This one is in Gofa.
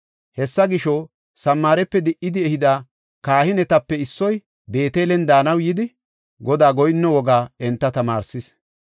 Hessa gisho, Samaarepe di77idi ehida kahinetape issoy Beetelen daanaw yidi, Godaa goyinno wogaa enta tamaarsis.